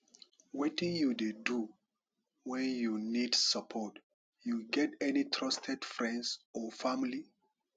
wetin you dey do when you need support you get any trusted friends or family